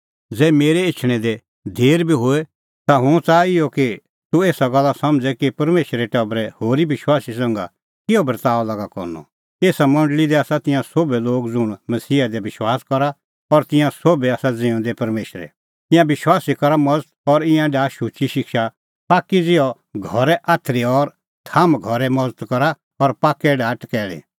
ज़ै मेरै एछणैं दी देर बी होए ता हुंह च़ाहा इहअ कि तूह एसा गल्ला समझ़े कि परमेशरे टबरे होरी विश्वासी संघै किहअ बर्ताअ लागा करनअ एसा मंडल़ी दी आसा तिंयां सोभै लोग ज़ुंण मसीहा दी विश्वास करा और तिंयां सोभै आसा ज़िऊंदै परमेशरे ईंयां विश्वासी करा मज़त और ईंयां डाहा शुची शिक्षा पाक्की ज़िहअ घरे आथरी और थाम्ह घरे मज़त करा और पाक्कै डाहा टकैल़ी